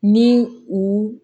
Ni u